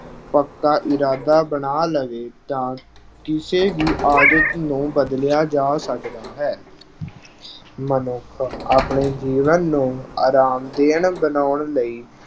ਪੱਕਾ ਇਰਾਦਾ ਬਣਾ ਲਵੇ ਤਾਂ ਕਿਸੇ ਵੀ ਆਦਤ ਨੂੰ ਬਦਲਿਆ ਜਾ ਸਕਦਾ ਹੈ। ਮਨੁੱਖ ਆਪਣੇ ਜੀਵਨ ਨੂੰ ਆਰਾਮਦੇਹ ਬਣਾਉਣ ਲਈ